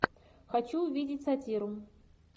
хочу увидеть сатиру